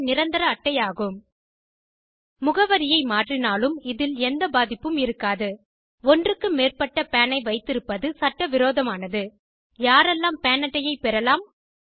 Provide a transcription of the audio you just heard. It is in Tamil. நிரந்தர அட்டை ஆகும் முகவரியை மாற்றினாலும் இதில் எந்த பாதிப்பும் இருக்காது ஒன்றுக்கு மேற்பட்ட பான் ஐ வைத்திருப்பது சட்டவிரோதமானது யாரெல்லாம் பான் அட்டையைப் பெறலாம்